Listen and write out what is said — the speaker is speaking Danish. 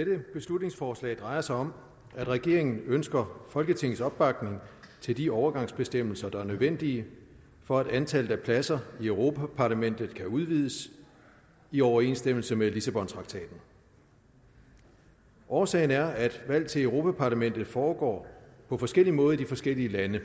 dette beslutningsforslag drejer sig om at regeringen ønsker folketingets opbakning til de overgangsbestemmelser der er nødvendige for at antallet af pladser i europa parlamentet kan udvides i overensstemmelse med lissabontraktaten årsagen er at valg til europa parlamentet foregår på forskellig måde i de forskellige lande